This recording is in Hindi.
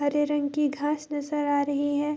हरे रंग की घास नजर आ रही है।